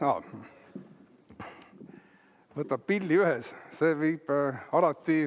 Aa, võtab pilli ühes.